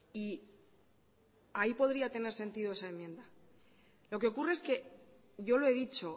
y ahí podría tener sentido esa enmienda lo que ocurre es que yo lo he dicho